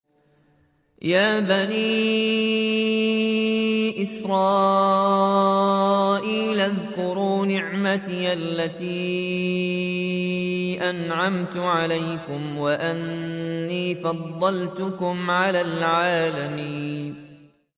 يَا بَنِي إِسْرَائِيلَ اذْكُرُوا نِعْمَتِيَ الَّتِي أَنْعَمْتُ عَلَيْكُمْ وَأَنِّي فَضَّلْتُكُمْ عَلَى الْعَالَمِينَ